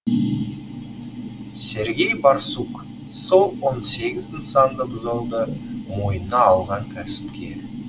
сергей борсук сол он сегіз нысанды бұзуды мойнына алған кәсіпкер